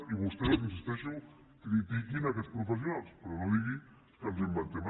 i vostès hi insisteixo critiquin aquests professionals però no digui que ens ho inventem